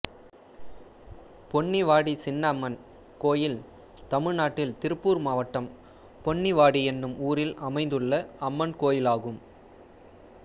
பொன்னிவாடி சின்னம்மன் கோயில் தமிழ்நாட்டில் திருப்பூர் மாவட்டம் பொன்னிவாடி என்னும் ஊரில் அமைந்துள்ள அம்மன் கோயிலாகும்